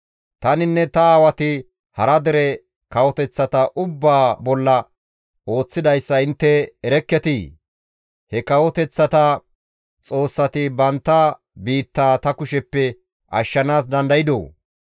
«Taninne ta aawati hara dere kawoteththata ubbaa bolla ooththidayssa intte erekketii? He kawoteththata xoossati bantta biittaa ta kusheppe ashshanaas dandaydoo?